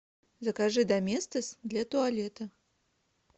закажи доместос для туалета